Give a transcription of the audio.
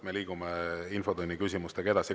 Me liigume infotunni küsimustega edasi.